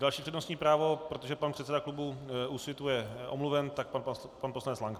Další přednostní právo - protože pan předseda klubu Úsvitu je omluven, tak pan poslanec Lank.